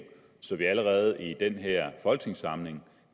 så vi allerede i den her folketingssamling